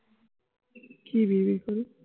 কি বিড়বিড় করি?